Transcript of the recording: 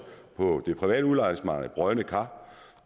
på det private udlejningsmarked brodne kar og